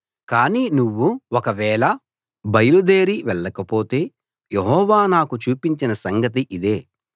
కాని నువ్వు ఒకవేళ బయలుదేరి వెళ్లకపోతే యెహోవా నాకు చూపించిన సంగతి ఇదే